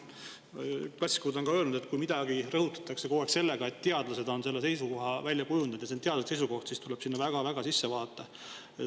Klassikud on ka öelnud, et kui kogu aeg rõhutatakse, et teadlased on selle seisukoha välja kujundanud ja see on teaduslik seisukoht, siis tuleb sinna väga-väga sisse vaadata.